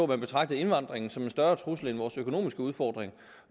man betragtede indvandringen som en større trussel end vores økonomiske udfordringer